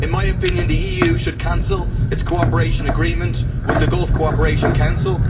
In my opinion, the EU should cancel its cooperation agreement with the Gulf Cooperation Council.